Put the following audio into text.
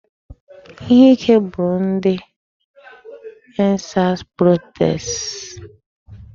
Ihe ike gburu ndị 'end sars protesters '.